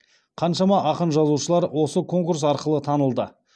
қаншама ақын жазушылар осы конкурс арқылы танылды